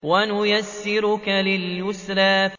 وَنُيَسِّرُكَ لِلْيُسْرَىٰ